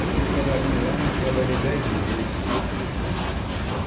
Aí fiquei trabalhando lá, mas trabalhei dez meses só.